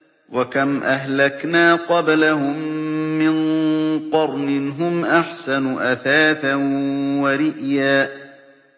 وَكَمْ أَهْلَكْنَا قَبْلَهُم مِّن قَرْنٍ هُمْ أَحْسَنُ أَثَاثًا وَرِئْيًا